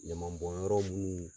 Ɲaman bɔn yɔrɔ munnu